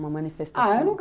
Uma manifestação? Ah, eu nunca